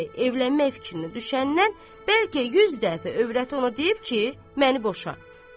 Bəy, evlənmək fikrinə düşəndən bəlkə 100 dəfə övrəti ona deyib ki, məni boşa.